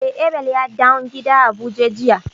Eh, Abel ya dawn gida a buje jiya.